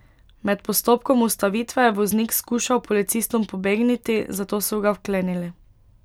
Med postopkom ustavitve je voznik skušal policistom pobegniti, zato so ga vklenili.